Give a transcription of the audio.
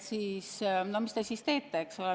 Mis te siis teete?